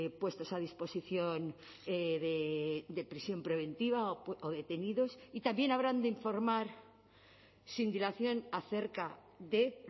puestos a disposición de prisión preventiva o detenidos y también habrán de informar sin dilación acerca de